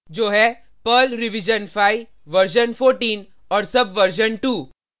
जो है Perl revision 5 version 14 और सबवर्जन 2